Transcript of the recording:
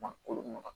Ma kolo mara